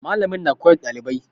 Mallamin na koyar da dalibai.